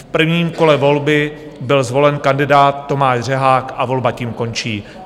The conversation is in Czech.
V prvním kole volby byl zvolen kandidát Tomáš Řehák a volba tím končí.